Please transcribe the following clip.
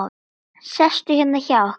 Sestu hérna hjá okkur!